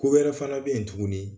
Ko wɛrɛ fana bɛ yen tugun